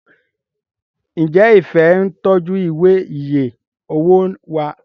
njé Ifẹ ń tọjú Ìwé iye owó wá?